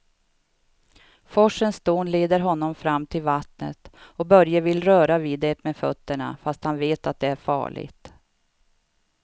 Forsens dån leder honom fram till vattnet och Börje vill röra vid det med fötterna, fast han vet att det är farligt.